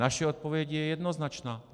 Naše odpověď je jednoznačná.